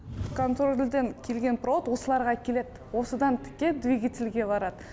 конфорбльден келген провод осыларға келед осыдан тіке двигательге барад